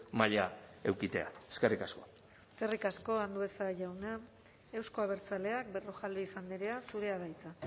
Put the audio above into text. maila edukitzea eskerrik asko eskerrik asko andueza jauna euzko abertzaleak berrojalbiz andrea zurea da hitza